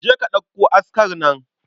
Je ka ɗauko askar nan.